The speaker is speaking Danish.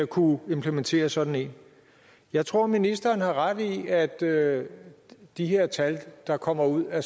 kunne implementere sådan en jeg tror ministeren har ret i at at de her tal der kommer ud af